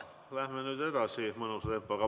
Läheme nüüd edasi mõnusa tempoga.